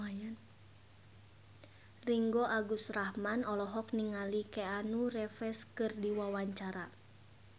Ringgo Agus Rahman olohok ningali Keanu Reeves keur diwawancara